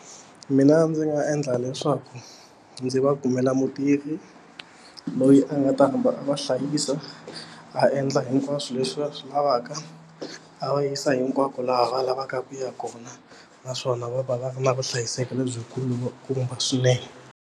Mina ndzi nga endla leswaku ndzi va kumela mutirhi loyi a nga ta hamba a va hlayisa a endla hinkwaswo leswi va swi lavaka a va yisa hinkwako laha va lavaka ku ya kona naswona va va va ri na vuhlayiseki lebyikulukumba swinene.